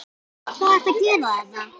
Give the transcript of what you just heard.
Hvað ert þú að gera þarna?